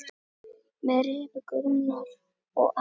Með Rebekku Rúnar og Aron.